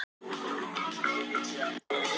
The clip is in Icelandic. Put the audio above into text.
Ég get bara ekki annað sagt.